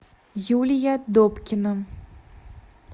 юлия добкина